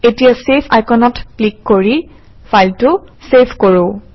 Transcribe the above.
এতিয়া চেভ আইকনত ক্লিক কৰি ফাইলটো চেভ কৰোঁ